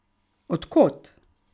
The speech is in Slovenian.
Od kod?